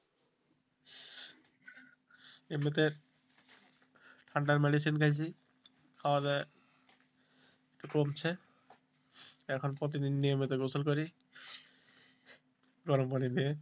এমনিতে ঠান্ডার medicine খাইছি খাওয়া দাওয়া কমছে এখন প্রতিদিন নিয়মিত গোসল করি গরম পানি দিয়ে